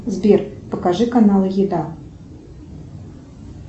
сбер покажи каналы еда